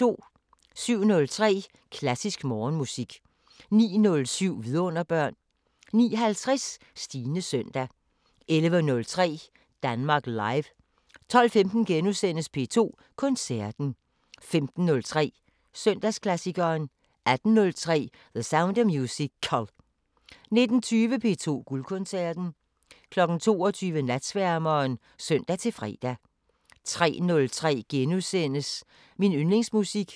07:03: Klassisk Morgenmusik 09:07: Vidunderbørn 09:50: Stines søndag 11:03: Danmark Live 12:15: P2 Koncerten * 15:03: Søndagsklassikeren 18:03: The Sound of Musical 19:20: P2 Guldkoncerten 22:00: Natsværmeren (søn-fre) 03:03: Min yndlingsmusik *